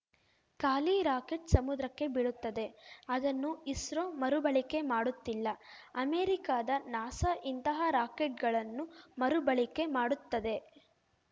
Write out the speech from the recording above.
ಖಾಲಿ ರಾಕೆಟ್‌ ಸಮುದ್ರಕ್ಕೆ ಬೀಳುತ್ತದೆ ಅದನ್ನು ಇಸ್ರೋ ಮರುಬಳಕೆ ಮಾಡುತ್ತಿಲ್ಲ ಅಮೆರಿಕದ ನಾಸಾ ಇಂತಹ ರಾಕೆಟ್‌ಗಳನ್ನು ಮರುಬಳಕೆ ಮಾಡುತ್ತದೆ